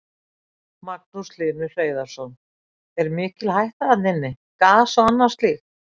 Magnús Hlynur Hreiðarsson: Er mikil hætta þarna inni, gas og annað slíkt?